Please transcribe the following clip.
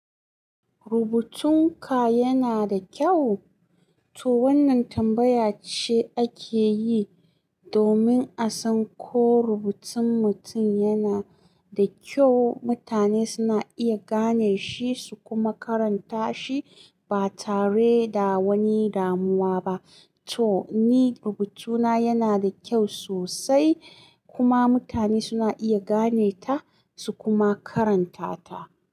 Rubutun ka yana da kyau? To wannan tambaya ce ake yi domin a san ko rubutun mutum yana da kyau, mutane suna iya gane shi su kuma karanta shi ba tare da wani damuwa ba. To ni rubutuna yana da kyau sosai kuma mutane suna iya gane ta su kuma karanta ta.